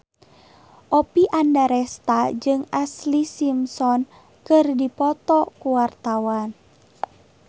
Oppie Andaresta jeung Ashlee Simpson keur dipoto ku wartawan